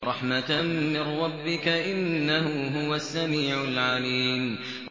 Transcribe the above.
رَحْمَةً مِّن رَّبِّكَ ۚ إِنَّهُ هُوَ السَّمِيعُ الْعَلِيمُ